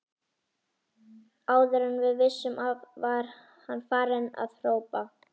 Áður en við vissum af var hann farinn að hrópa